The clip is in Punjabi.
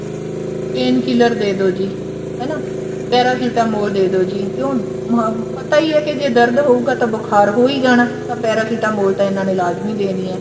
painkiller ਦੇਦੋ ਜੀ ਹਨਾ paracetamol ਦੇਦੋ ਜੀ ਕਿਉਂ ਹਮ ਪਤਾ ਹੀ ਹੈ ਜੇ ਦਰਦ ਹੋਊਗਾ ਬੁਖਾਰ ਹੋ ਹੀ ਜਾਣਾ ਤਾਂ paracetamol ਤਾਂ ਇਹਨਾ ਨੇ ਲਾਜਮੀ ਦੇਣੀ ਹੈ